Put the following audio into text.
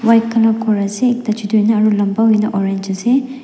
white colour khor ase ekta chutu hoina aru lamba hoina orange ase.